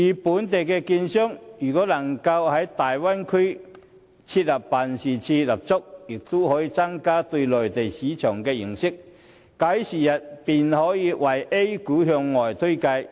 本港券商如能在大灣區設立辦事處，將有助他們增加對內地市場的認識。假以時日，他們便可向外推介 A 股。